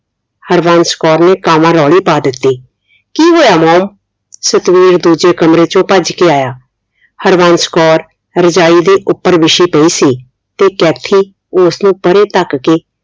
ਹਰਬੰਸ ਕੌਰ ਨੇ ਕਾਂਵਾਂਰੋਲੀ ਪਾ ਦਿੱਤੀ, ਕੀ ਹੋਇਆ ਮੋਮ, ਸਤਵੀਰ ਦੂਜੇ ਕਮਰੇ ਚੋ ਭੱਜ ਕੇ ਆਇਆ, ਹਰਬੰਸ ਕੌਰ ਰਜਾਈ ਦੇ ਉਪਰ ਬਿਛੀ ਪਈ ਸੀ ਤੇ ਕੈਥੀ ਉਸ ਨੂੰ ਪਰੇ ਧੱਕ ਕੇ